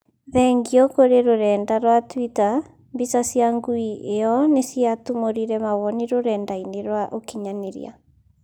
Thengiũ kũrĩ rũrenda rwa Twita, mbica cia ngui ĩyo nĩciatumũrire mawoni rũrenda-inĩ rwa ũkinyanĩria